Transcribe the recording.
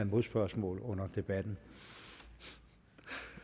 modspørgsmål under debatten